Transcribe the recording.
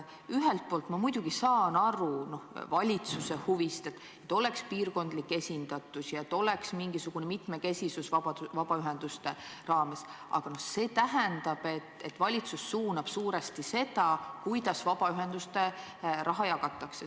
Ühelt poolt ma muidugi saan aru valitsuse huvist, et oleks piirkondlik esindatus ja et oleks mingisugune mitmekesisus vabaühenduste raames, aga see tähendab, et valitsus suunab suuresti seda, kuidas vabaühenduste raha jagatakse.